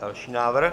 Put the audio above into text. Další návrh.